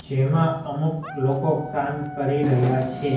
જેમા અમુક લોકો કામ કરી રહ્યા છે.